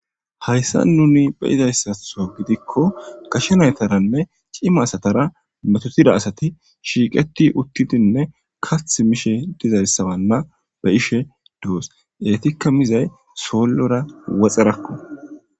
Hayssa nuni be izayssatho gidikko gashenaytaranne cima asatara metotida asati shiiqeti uttidinne kath mishe dizarssabanna be ishe doos eetikka mizay soollora woxerakko.